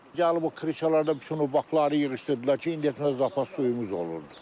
Yanlı bu krişalarda bütün o bakları yığışdırdılar ki, indi heç bizə zapas suyumuz olmurdu.